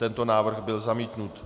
Tento návrh byl zamítnut.